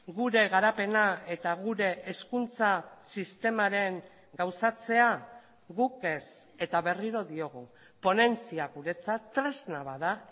gure garapena eta gure hezkuntza sistemaren gauzatzea guk ez eta berriro diogu ponentzia guretzat tresna bat da